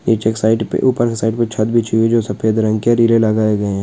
पर ऊपर की साइड में छत भी चाहिए जो सफेद रंग के रेले लगाएंगे।